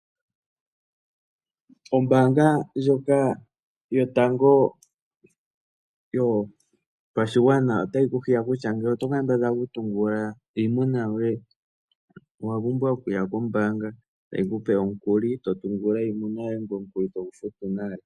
Ombaanga yotango yopashigwana otayi hiya oshigwana kutya, ngele oto kambadhala okutungulula iimuna yoye, owa pumbwa okuya kombaanga, tayi kupe omukuli, to tungulula iimuna yoye, ngoye omukuli togu futu nale.